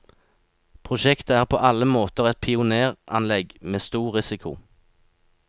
Prosjektet er på alle måter et pionéranlegg med stor risiko.